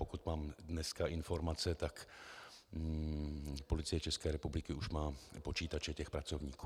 Pokud mám dnes informace, tak Policie České republiky už má počítače těch pracovníků.